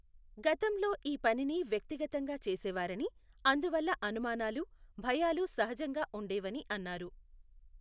గతంలొ ఈ పనిని వ్యక్తిగతంగా చేసేవారని, అందువల్ల అనుమానాలు, భయాలు సహజంగా ఉండేవని అన్నారు.